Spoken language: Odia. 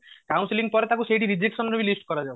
counselling ପରେ ତାକୁ ସେଇଠି rejection ରେ ବି list କରାଯାଉ